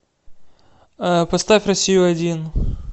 поставь россию один